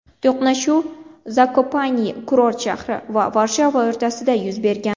To‘qnashuv Zakopanye kurort shahri va Varshava o‘rtasida yuz bergan.